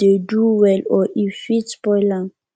dey do well or e fit spoil am